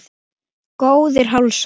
Góðir hálsar!